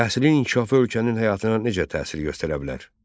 Təhsilin inkişafı ölkənin həyatına necə təsir göstərə bilər?